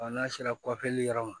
n'a sera yɔrɔ ma